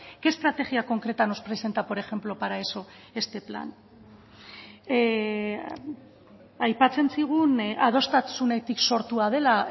qué estrategia concreta nos presenta por ejemplo para eso este plan aipatzen zigun adostasunetik sortua dela